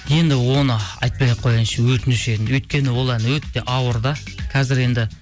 енді оны айтпай ақ қояйыншы өтініш енді өйткені ол ән өте ауыр да қазір енді